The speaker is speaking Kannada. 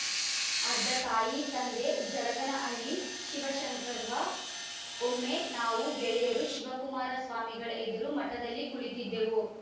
ಅರ್ಧ ತಾಯಿ ತಂದೆ ಜರಗನಹಳ್ಳಿ ಶಿವಶಂಕರ್‌ವ ಒಮ್ಮೆ ನಾವು ಗೆಳೆಯರು ಶಿವಕುಮಾರ ಸ್ವಾಮಿಗಳ ಎದುರು ಮಠದಲ್ಲಿ ಕುಳಿತಿದ್ದೆವು